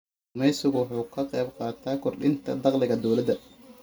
Kalluumaysigu waxa uu ka qayb qaataa kordhinta dakhliga dawladda.